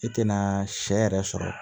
I tɛna sɛ yɛrɛ sɔrɔ